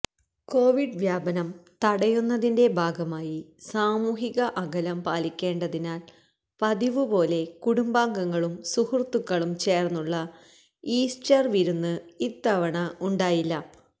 Covid വ്യാപനം തടയുന്നതിന്റെ ഭാഗമായി സാമൂഹിക അകലം പാലിക്കേണ്ടതിനാൽ പതിവുപോലെ കുടുംബാംഗങ്ങളും സുഹൃത്തുക്കളും ചേർന്നുള്ള ഈസ്റ്റർ വിരുന്ന് ഇത്തവണ ഉണ്ടായില്ല